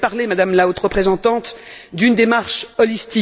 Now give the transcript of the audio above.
Vous avez parlé, Madame la Haute représentante, d'une démarche globale.